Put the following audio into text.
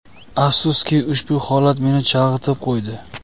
Afsuski, ushbu holat meni chalg‘itib qo‘ydi.